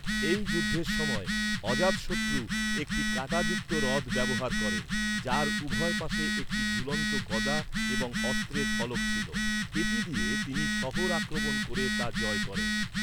এই যুদ্ধের সময়, অজাতশত্রু একটি কাঁটাযুক্ত রথ ব্যবহার করেন, যার উভয় পাশে একটি ঝুলন্ত গদা এবং অস্ত্রের ফলক ছিল। এটি দিয়ে তিনি শহর আক্রমণ ক’রে তা জয় করেন।